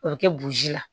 O bɛ kɛ boji la